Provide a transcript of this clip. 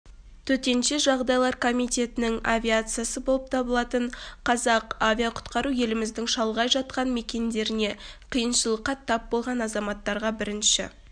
төтенше жағдайлар комитетінің авиациясы болып табылатын қазақ авиақұтқару еліміздің шалғай жатқан мекендерінде қиыншылыққа тап болған азаматтарға бірінші